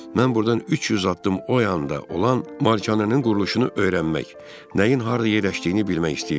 Mən burdan 300 addım o yanda olan malikanənin quruluşunu öyrənmək, nəyin harda yerləşdiyini bilmək istəyirdim.